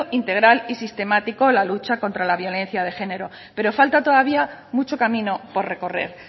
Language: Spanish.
integral y sistemático a la lucha contra la violencia de género pero falta todavía mucho camino por recorrer